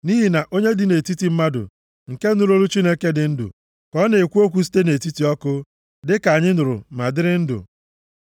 Nʼihi na onye dị nʼetiti mmadụ, nke nụrụ olu Chineke dị ndụ ka ọ na-ekwu okwu site nʼetiti ọkụ, dịka anyị nụrụ ma dịrị ndụ.